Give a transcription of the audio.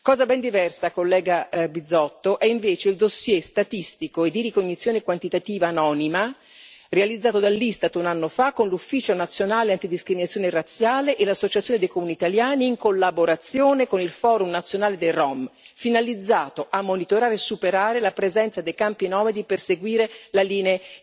Cosa ben diversa, collega Bizzotto, è invece il dossier statistico e di ricognizione quantitativa anonima realizzato dall'Istat un anno fa con l'Ufficio nazionale antidiscriminazione razziale e l'Associazione dei Comuni italiani, in collaborazione con il Forum nazionale dei rom, finalizzato a monitorare e superare la presenza dei campi nomadi per seguire le linee